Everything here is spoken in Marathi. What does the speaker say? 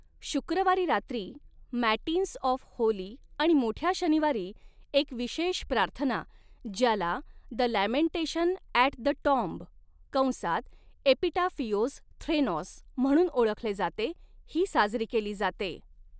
शुक्रवारी रात्री, मॅटिन्स ऑफ होली आणि मोठ्या शनिवारी, एक विशेष प्रार्थना ज्याला the lamentation at the tomb कंसात एपीटाफिओस थ्रेनोस म्हणून ओळखले जाते ही साजरी केली जाते.